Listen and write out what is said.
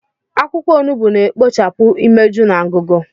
Akwụkwọ onugbu na-ekpochapụ imeju na ngụgụ.